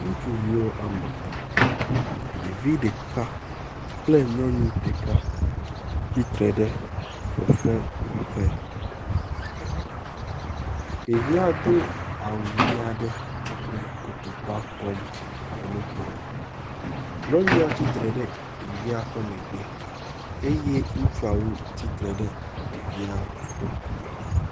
Ŋutsuviwo wɔme etɔ̃. Ɖevi ɖeka kple nyɔnu ɖeka tsitre ɖe fefewɔƒe. Ɖevia do awu ʋi aɖe kple kotokua kpɔm le nu kom. Nyɔnua tsitre ɖe ɖevia ƒe megbe eye ŋutsuawo tsitre ɖe ɖevia ƒe ŋkume.